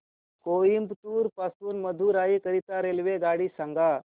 कोइंबतूर पासून मदुराई करीता रेल्वेगाडी सांगा